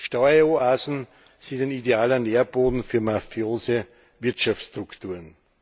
Steueroasen sind ein idealer Nährboden für mafiose Wirtschaftsstrukturen.